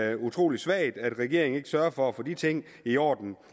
er utrolig svagt at regeringen ikke sørger for at få de ting i orden